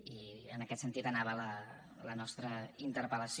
i en aquest sentit anava la nostra interpel·lació